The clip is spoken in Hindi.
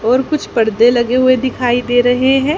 और कुछ पर्दे लगाए हुए दिखाई दे रहे हैं।